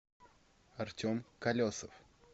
артем колесов